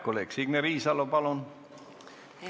Kolleeg Signe Riisalo, palun!